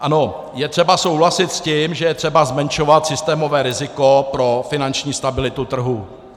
Ano, je třeba souhlasit s tím, že je třeba zmenšovat systémové riziko pro finanční stabilitu trhu.